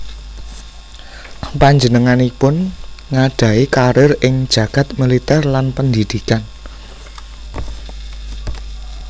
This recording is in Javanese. Panjenenganipun ngadhahi kariér ing jagad militér lan pendidikan